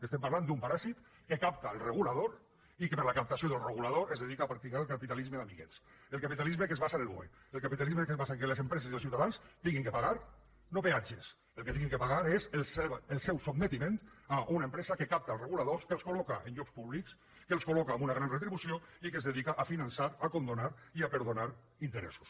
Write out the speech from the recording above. estem parlant d’un paràsit que capta el regulador i que per a la captació del regulador es dedica a practicar el capitalisme d’amiguets el capitalisme que es basa en el boe el capitalisme que es basa en què les empreses i els ciutadans hagin de pagar no peatges que el que hagin de pagar és el seu sotmetiment a una empresa que capta els reguladors que els col·en llocs públics que els col·loca amb una gran retribució i que es dedica a finançar a condonar i a perdonar interessos